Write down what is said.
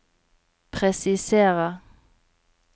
presiserer